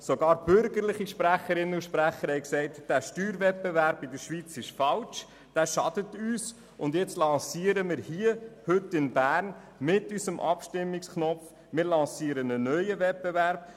Sogar bürgerliche Sprecherinnen und Sprecher haben gesagt, der Steuerwettbewerb in der Schweiz sei falsch, er schade uns, und jetzt lancieren wir mit unserem Abstimmungsknopf heute in Bern einen neuen Wettbewerb.